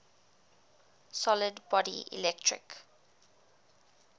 solid body electric